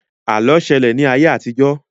Àlọ́ ṣẹlẹ̀ ní ayé àtijọ́